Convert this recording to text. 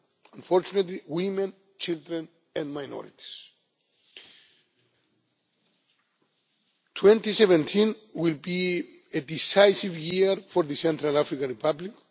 them, unfortunately, women, children and minorities. 2017 will be a decisive year for the Central African Republic.